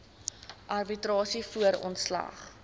arbitrasie voor ontslag